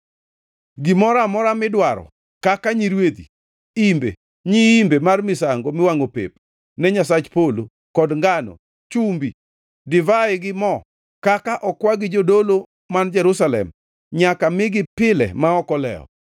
Gimoro amora midwaro kaka nyirwedhi, imbe, nyiimbe mar misango miwangʼo pep ne Nyasach polo, kod ngano, chumbi, divai gi mo, kaka okwa gi jodolo man Jerusalem nyaka migi pile ma ok olewo,